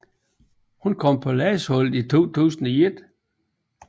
Hun kom på landsholdet i 2001